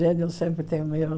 Gênio sempre tem meio...